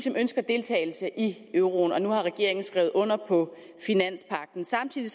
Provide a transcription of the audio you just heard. ønsker deltagelse i euroen og nu har regeringen skrevet under på finanspagten samtidig